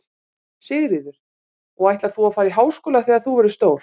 Sigríður: Og ætlar þú að fara í háskóla þegar þú verður stór?